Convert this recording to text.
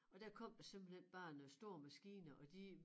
Og der kom der simpelthen bare nogle store maskiner og de